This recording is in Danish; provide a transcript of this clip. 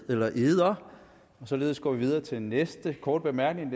ed eller eder således går vi videre til næste korte bemærkning